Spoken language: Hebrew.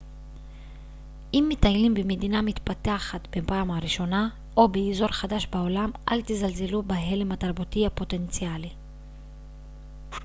אם מטיילים במדינה מתפתחת בפעם הראשונה או באזור חדש בעולם אל תזלזלו בהלם התרבותי הפוטנציאלי